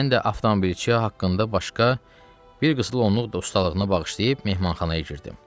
Mən də avtomobilçiyə haqqında başqa bir qısa onluq da ustalığına bağışlayıb mehmanxanaya girdim.